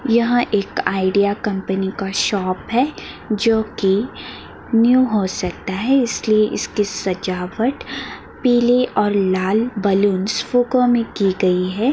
यह एक Idea company का शॉप है जो कि न्यू हो सकता है इसलिए इसकी सजावट पीले और लाल बलूंस फुगो में की गई है।